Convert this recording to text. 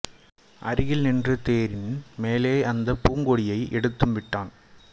அருகில் நின்று தேரின் மேலே அந்தப் பூங்கொடியை எடுத்தும் விட்டான்